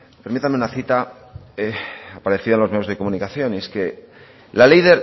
permítame una cita para decir a los medios de comunicación y